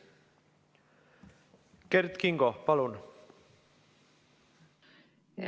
Kert Kingo, palun!